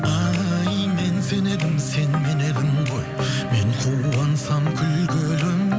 ай мен сен едім сен мен едің ғой мен қуансам күлгенің